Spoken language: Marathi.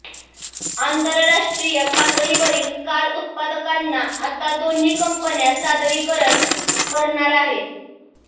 आंतरराष्ट्रीय पातळीवरील कार उत्पादकांना आता दोन्ही कंपन्या सादरीकरण करणार आहेत